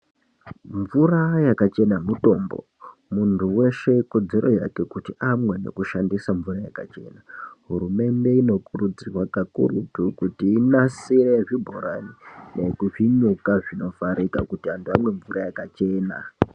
Mvura yakachena mutombo, muntu weshe ikodezero yake kuti amwe nekushandisa mvura yakachena. Hurumende inikurudzirwa kakurutu kuti inasire zvibhorani nezvinyuka zvinovharika kuti antu amwe mvura yakachena.